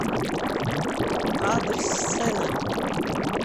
адрес сцена